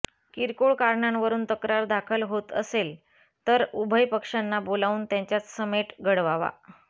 किरकोळ कारणांवरून तक्रार दाखल होत असेल तर उभय पक्षांना बोलावून त्यांच्यात समेट घडवावा